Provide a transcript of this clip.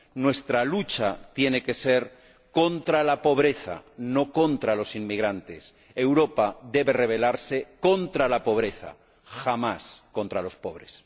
Nuestra lucha tiene que ser contra la pobreza, no contra los inmigrantes. Europa debe rebelarse contra la pobreza, jamás contra los pobres.